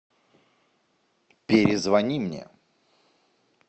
перезвони мне